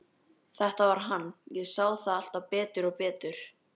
Þetta var hann, ég sá það alltaf betur og betur.